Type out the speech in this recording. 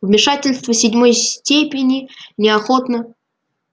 вмешательство седьмой степени неохотно